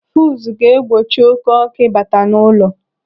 Fuzu ga-egbochi oké ọkụ ịbata n'ụlọ.